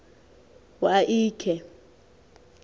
wa l khe